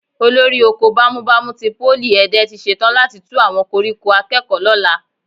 Olórí oko bámúbamù ti Pólì Ẹ̀dẹ tí ṣetán láti tú àwọn koríko akẹ́kọ̀ọ́ lọ́la